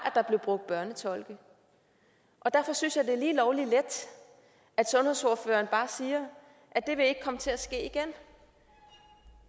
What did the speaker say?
der blev brugt børnetolke derfor synes jeg at det er lige lovlig let at sundhedsordføreren bare siger at det vil ikke komme til at ske igen